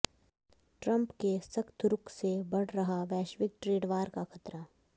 Trump के सख्त रुख से बढ़ रहा वैश्विक ट्रेड वार का खतरा